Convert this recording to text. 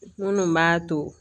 Minnu b'a to